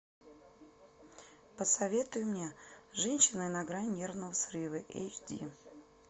посоветуй мне женщина на грани нервного срыва эйч ди